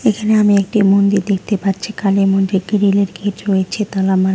এখানে আমি একটি মন্দির দেখতে পাচ্ছি কালী মন্দির গ্রিল -এর গেট রয়েছে তালা মারা।